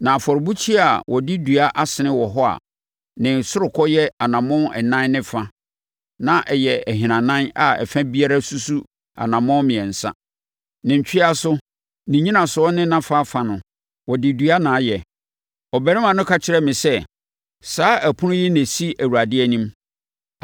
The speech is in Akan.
Na afɔrebukyia a wɔde dua asene wɔ hɔ a ne ɔsorokɔ yɛ anammɔn ɛnan ne fa a na ɛyɛ ahinanan a ɛfa biara susu anammɔn mmiɛnsa; ne ntweaso, ne nnyinasoɔ ne nʼafafa no, wɔde dua na ayɛ. Ɔbarima no ka kyerɛɛ me sɛ, “Saa ɛpono yi na ɛsi Awurade anim.”